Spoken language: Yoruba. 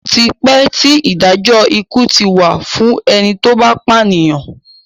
Ó ti pẹ́ tí Ìdájọ́ ikú ti wà fún ẹni tó bá pànìyàn